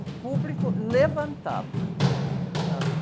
O público levantava, sabe?